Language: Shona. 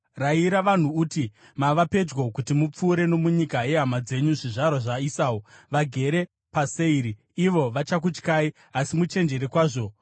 Rayira vanhu uti, ‘Mava pedyo kuti mupfuure nomunyika yehama dzenyu zvizvarwa zvaEsau, vagere paSeiri. Ivo vachakutyai, asi muchenjere kwazvo.